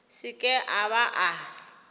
se ke a ba a